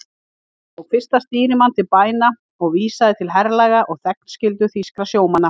Hann tók fyrsta stýrimann til bæna og vísaði til herlaga og þegnskyldu þýskra sjómanna.